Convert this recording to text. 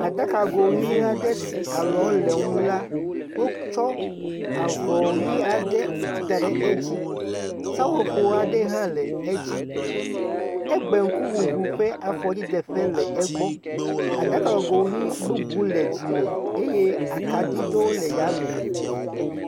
Aɖakago ʋi aɖe si alɔwo le eŋu la, wotsɔ avɔ ʋi aɖe da ɖe edzi. Seƒoƒo aɖe hã le edzi. Egbe ŋkuŋuŋui ƒe afɔdzideƒe le egbɔ. Aɖakago ʋi bubu le dzime eye akaɖi ɖewo le yame.